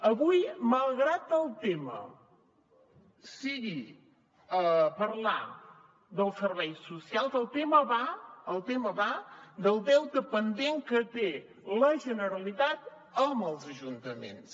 avui malgrat que el tema sigui parlar dels serveis socials el tema va del deute pendent que té la generalitat amb els ajuntaments